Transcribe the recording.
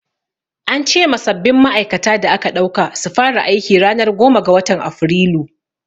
An ce ma sabbin ma'aikata da aka ɗauka su fara aiki ranar goma ga watan Afrilu.